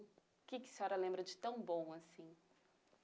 O que a senhora lembra de tão bom assim?